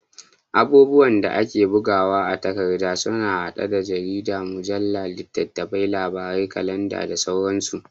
Abubuwan da ake bugawa a takarda sun haɗa da jaridu, mujalla, littafin labarai, kalanda da sauransu.